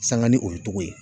Sanga ni o ye togo ye.